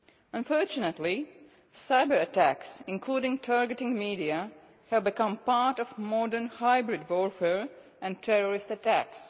Unfortunately, cyber attacks, including targeting the media, have become part of modern hybrid warfare and terrorist attacks.